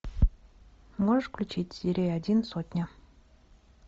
можешь включить серия один сотня